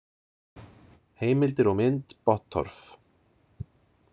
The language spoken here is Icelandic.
Heimildir og mynd Bottorff.